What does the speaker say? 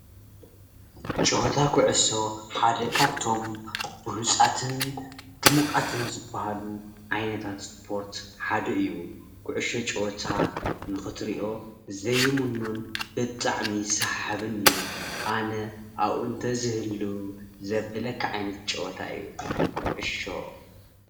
ፀወታ ኩዕሶ ሓደ ካብቶም ብሉፃትን ዱሙቃትን ዝኮነ ዝባሃሉ ዓይነታት እስፖርት ሓደ እዩ፡፡ ከዕሾ ፀወታ ንክትሪኦ ዘይምኖን ብጣዕሚ ሰሓብን እዩ፡፡ ኣነ ኣብኡ እንተዝህሉ ዘብለካ ዓይነት ጨወታ እዩ፡፡ ኩዕሾ